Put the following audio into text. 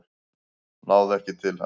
Náðu ekki til hans